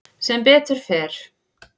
Sem betur fer